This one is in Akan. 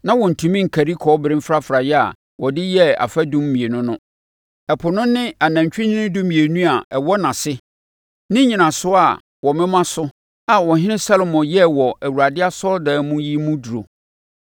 Na wɔntumi nkari kɔbere mfrafraeɛ a wɔde yɛɛ afadum mmienu no, Ɛpo no ne anantwinini dumienu a ɛwɔ nʼase ne nnyinasoɔ a wɔmoma soɔ a Ɔhene Salomo yɛɛ wɔ Awurade asɔredan mu yi mu duru.